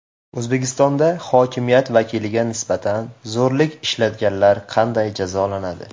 O‘zbekistonda hokimiyat vakiliga nisbatan zo‘rlik ishlatganlar qanday jazolanadi?.